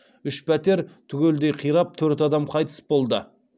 үш пәтер түгелдей қирап төрт адам қайтыс болды